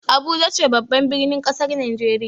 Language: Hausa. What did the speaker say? Abuja ce babban birnin kasar Najeriya.